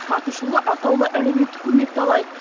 атышулы атаулы әлеуметтік көмекті алайық